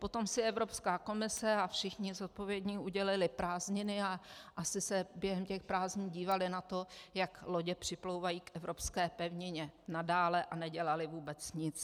Potom si Evropská komise a všichni zodpovědní udělali prázdniny a asi se během těch prázdnin dívali na to, jak lodě připlouvají k evropské pevnině nadále, a nedělali vůbec nic.